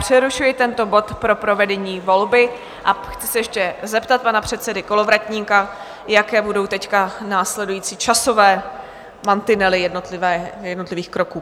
Přerušuji tento bod pro provedení volby a chci se ještě zeptat pana předsedy Kolovratníka, jaké budou teď následující časové mantinely jednotlivých kroků?